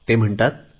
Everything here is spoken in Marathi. ते म्हणतात